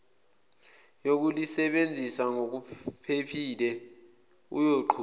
yokulisebenzisa ngokuphephile uyoqhuba